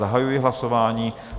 Zahajuji hlasování.